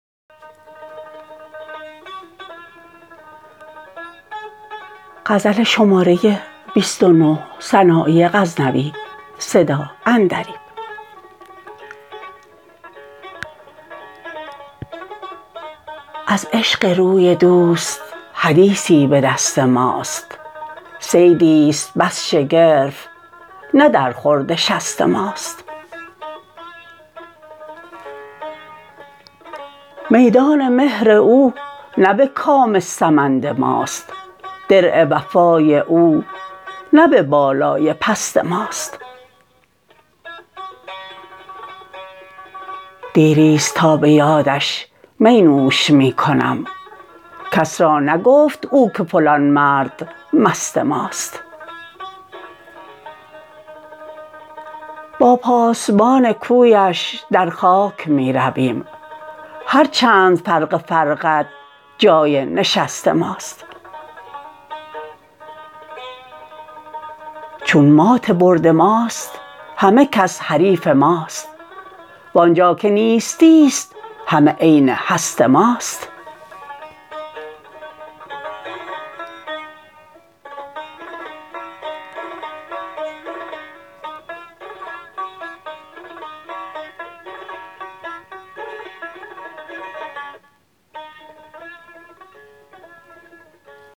از عشق روی دوست حدیثی به دست ماست صیدیست بس شگرف نه در خورد شست ماست میدان مهر او نه به کام سمند ماست درع وفای او نه به بالای پست ماست دیریست تا به یادش می نوش می کنم کس را نگفت او که فلان مرد مست ماست با پاسبان کویش در خاک می رویم هر چند فرق فرقد جای نشست ماست چون مات برد ماست همه کس حریف ماست وانجا که نیستیست همه عین هست ماست